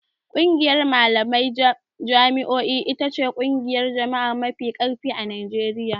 ƙungiyar malaman jami'o'i ita ce ƙungiyar jami'a mafi ƙarfi a Najeriya.